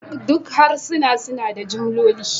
Duk harsuna suna da jimloli